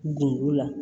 Gundo la